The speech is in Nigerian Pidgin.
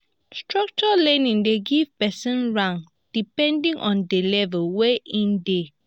structured learning de give person rank depending on di level wey in de